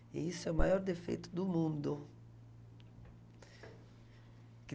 E isso é o maior defeito do mundo.